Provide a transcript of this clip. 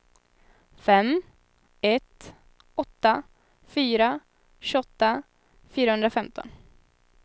fem ett åtta fyra tjugoåtta fyrahundrafemton